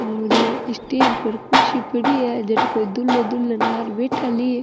और स्टेज पर कुर्सी पड़ी है जठ कोई दुल्हो दुल्हन आर बैठा ली --